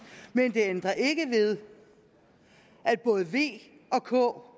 men det ændrer ikke ved at både v og k